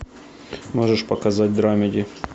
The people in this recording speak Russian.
можешь показать драмеди